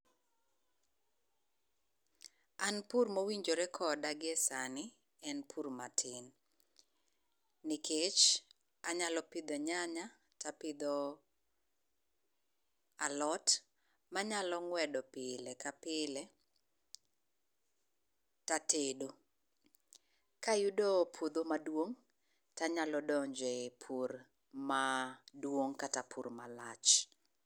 An pur mowinjore koda gie sani en pur matin, nikech anyalo pidho nyanya tapidho alot manyalo ng'wedo pile ka pile tatedo. Kayudo puodho maduong' tanyalo donje pur maduong' kata pur malach.